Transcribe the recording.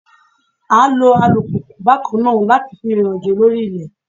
À ń lo alùpùpù bákan náà láti fi rìnrìn àjò lórí ilẹ̀